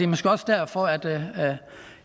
måske også derfor at